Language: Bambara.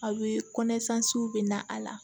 A bɛ kɔnɛ bɛ na a la